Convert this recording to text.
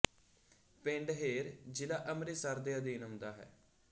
ਪਿੰਡ ਹੇਰ ਜ਼ਿਲ੍ਹਾ ਅੰਮ੍ਰਿਤਸਰ ਦੇ ਅਧੀਨ ਆਉਦਾ ਹੈ